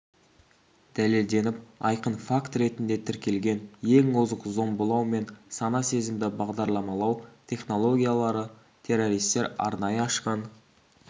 дәлелденіп айқын факт ретінде тіркелген ең озық зомбылау мен сана-сезімді бағдарламалау технологиялары террористер арнайы ашқан